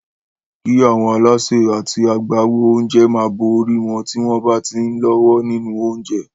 Kí àwọn alásè àti àwọn agbáwo oúnjẹ máa bo orí wọn tí wọ́n bá ti ń lọ́wọ́ nínú oúnjẹ.